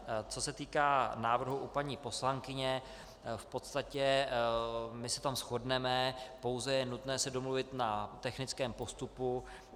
Co se týká návrhu u paní poslankyně, v podstatě se v tom shodneme, pouze je nutné se domluvit na technickém postupu.